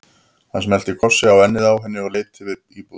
Hann smellti kossi á ennið á henni og leit yfir íbúðina.